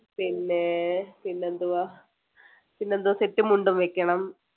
പിന്നെ~ പിന്നെ എന്തുവാ പിന്നെ എന്തോ സെറ്റും മുണ്ടും വെക്കണം